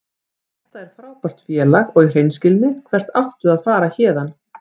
Þetta er frábært félag og í hreinskilni, hvert áttu að fara héðan?